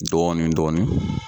Dɔɔnin dɔɔnin